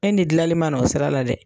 E ni dilali ma n'o sira la dɛ!